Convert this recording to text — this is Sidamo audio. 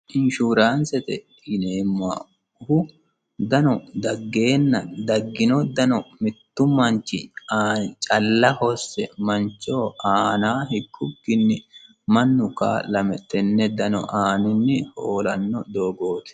inshuraansete yineemmohu dano daggeenna daggino dano mittu manchi aani calla hosse manchoho aana hikkukkinni mannu ka'lame tenne dano aaninni hoolanno doogooti